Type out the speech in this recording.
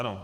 Ano.